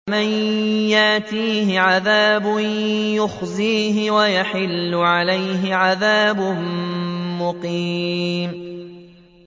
مَن يَأْتِيهِ عَذَابٌ يُخْزِيهِ وَيَحِلُّ عَلَيْهِ عَذَابٌ مُّقِيمٌ